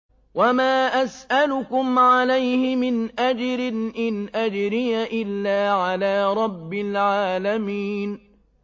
وَمَا أَسْأَلُكُمْ عَلَيْهِ مِنْ أَجْرٍ ۖ إِنْ أَجْرِيَ إِلَّا عَلَىٰ رَبِّ الْعَالَمِينَ